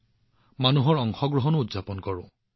আমি ইয়াত জনসাধাৰণৰ অংশগ্ৰহণো উদযাপন কৰো